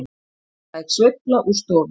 Lúshæg sveifla úr stofunni.